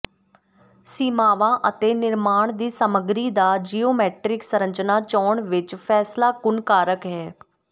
ਸੀਮਾਵਾਂ ਅਤੇ ਨਿਰਮਾਣ ਦੀ ਸਮੱਗਰੀ ਦਾ ਜਿਓਮੈਟਰੀਕ ਸੰਰਚਨਾ ਚੋਣ ਵਿਚ ਫੈਸਲਾਕੁਨ ਕਾਰਕ ਹੈ